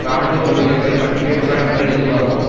இராணுவ ஊழியர்கள் பற்றிய விவரங்கள் இதுவாகும்